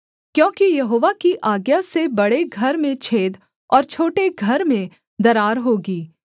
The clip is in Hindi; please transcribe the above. क्योंकि यहोवा की आज्ञा से बड़े घर में छेद और छोटे घर में दरार होगी